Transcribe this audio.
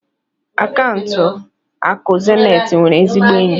akaụntụ akụ zenith nwere ezigbo enyi.